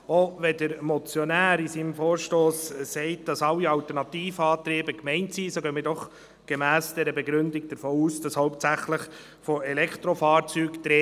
Auch wenn der Motionär in seinem Vorstoss sagt, dass sämtliche Alternativantriebe gemeint sind, gehen wir gemäss der Begründung davon aus, dass es hauptsächlich um Elektrofahrzeuge